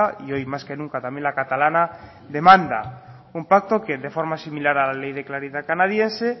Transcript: y hoy más que nunca también la catalana demanda un pacto que de forma similar a la ley de claridad canadiense